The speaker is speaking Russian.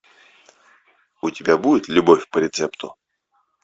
у тебя будет любовь по рецепту